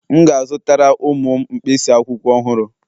M ga-azụtara ụmụ m mkpịsị akwụkwọ ọhụrụ